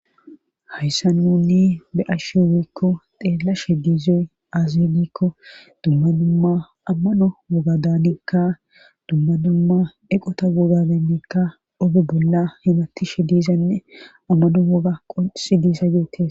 hayssa nunni be ashshe owiikko xeella she gizoy aazibikko dumma dumma amma no wogadaanikka dumma dumma eqota wogadannikka obe bolla himatti shi dizanne ammadummoga qosi disa yoetis